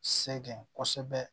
Sɛgɛn kosɛbɛ